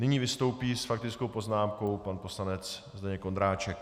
Nyní vystoupí s faktickou poznámkou pan poslanec Zdeněk Ondráček.